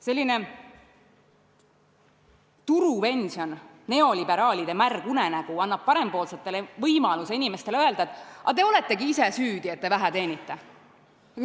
Selline turupension, neoliberaalide märg unenägu, annab parempoolsetele võimaluse inimestele öelda, et te olete ise süüdi, et te vähe teenite.